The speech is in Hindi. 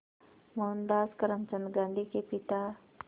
मोहनदास करमचंद गांधी के पिता